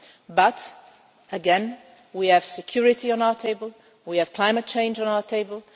But again, we have security on our table, we have climate change on our table